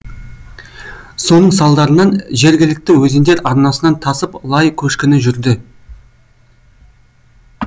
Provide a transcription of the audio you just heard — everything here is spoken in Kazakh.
соның салдарынан жергілікті өзендер арнасынан тасып лай көшкіні жүрді